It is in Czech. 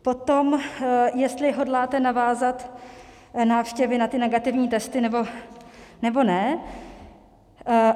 Potom jestli hodláte navázat návštěvy na ty negativní testy, nebo ne.